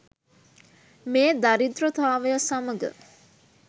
මේ දරිද්‍රතාවය සමග